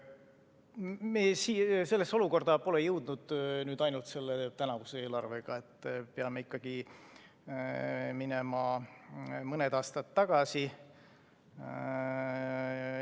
Me pole sellesse olukorda jõudnud ainult tänavuse eelarvega, peame minema mõne aasta tagasi.